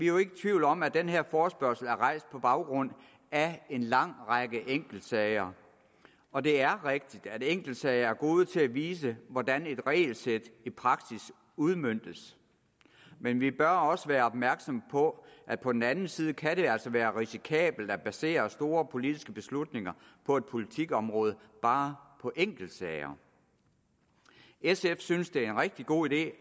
jo ikke i tvivl om at den her forespørgsel er rejst på baggrund af en lang række enkeltsager og det er rigtigt at enkeltsager er gode til at vise hvordan et regelsæt i praksis udmøntes men vi bør også være opmærksom på at på den anden side kan det altså være risikabelt at basere store politiske beslutninger på et politikområde bare på enkeltsager sf synes det er en rigtig god idé